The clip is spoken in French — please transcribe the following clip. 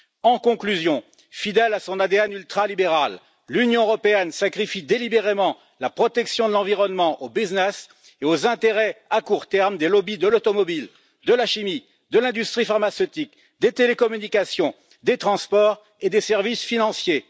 En conclusion, fidèle à son ADN ultra libéral, l'Union européenne sacrifie délibérément la protection de l'environnement au business et aux intérêts à court terme des lobbies de l'automobile, de la chimie, de l'industrie pharmaceutique, des télécommunications, des transports et des services financiers.